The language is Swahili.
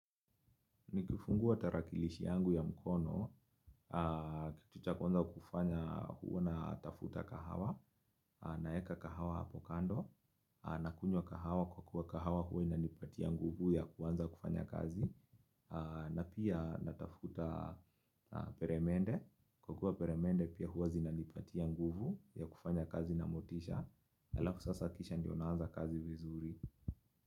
Nikifungua tarakilishi yangu ya mkono, kitu cha kwanza kufanya huwa natafuta kahawa, naweka kahawa hapo kando, nakunywa kahawa kwa kuwa kahawa huwa inanipatia nguvu ya kuanza kufanya kazi, na pia natafuta peremende, kwa kuwa peremende pia huwa zinanipatia nguvu ya kufanya kazi na motisha, halafu sasa kisha ndio naanza kazi vizuri.